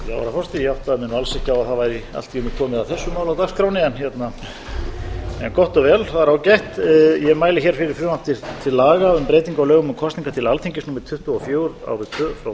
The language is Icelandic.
ekki á að það væri allt í einu komið að þessu máli á dagskránni en gott og vel það er ágætt ég mæli hér fyrir frumvarpi til laga um breytingu á lögum um kosningar til alþingis númer tuttugu og fjögur